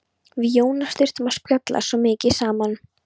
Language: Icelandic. Við Jónas þurftum að spjalla svo mikið saman.